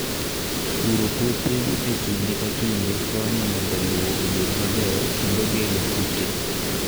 Puro puothe e kinde ka kinde konyo mondo lowo obed maber kendo geng'o kute.